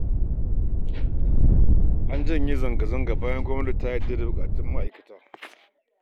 An janye zanga-zanga bayan gwamnati ta amince da buƙatun ma'aikata